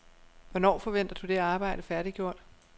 Hvornår forventer du det arbejde færdiggjort?